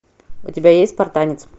у тебя есть спартанец